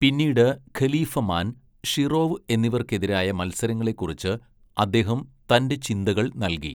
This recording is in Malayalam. പിന്നീട് ഖലീഫമാൻ, ഷിറോവ് എന്നിവർക്കെതിരായ മത്സരങ്ങളെക്കുറിച്ച് അദ്ദേഹം തന്റെ ചിന്തകൾ നൽകി.